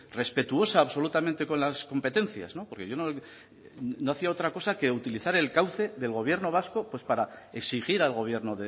respetuosa absolutamente con las competencias porque yo no hacía otra cosa que utilizar el cauce del gobierno vasco para exigir al gobierno